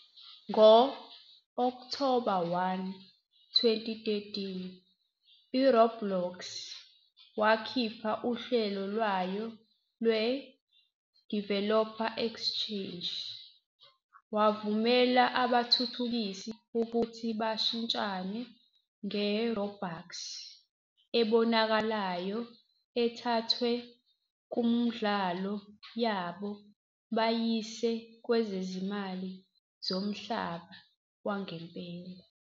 Ngo-Okthoba 1, 2013, uRoblox wakhipha uhlelo lwayo lwe- "Developer Exchange", wavumela abathuthukisi ukuthi bashintshane nge-Robux ebonakalayo ethathwe kumidlalo yabo bayise kwezimali zomhlaba wangempela.